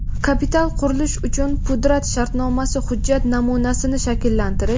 Kapital qurilish uchun pudrat shartnomasi | Hujjat namunasini shakllantirish.